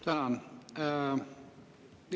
Tänan!